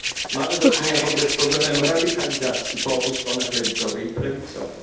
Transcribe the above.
Mamy do czynienia w ogóle z problemem radykalizacji po obu stronach lewicowej i prawicowej.